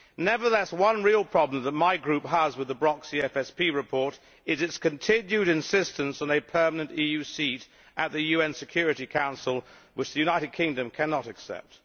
Nevertheless, one real problem that my group has with the Brok CFSP report is its continued insistence on a permanent EU seat at the UN Security Council, which the United Kingdom cannot accept.